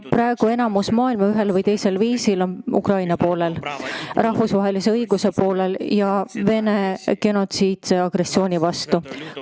Praegu on suurem osa maailmast ühel või teisel viisil Ukraina ja rahvusvahelise õiguse poolel ning Vene genotsiidse agressiooni vastu.